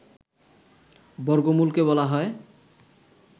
বর্গমূল কে বলা হয়